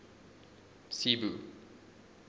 cebu